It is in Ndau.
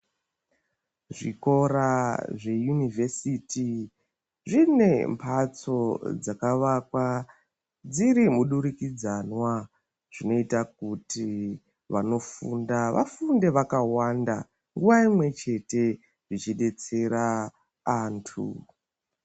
Zvikora zveunivhesiti zvine mbatso dzakavakwa dziri mudurikidzwanwa zvinoita kuti vanofunda vafunde vakawanda nguva imweni chete zvichidetsera antu.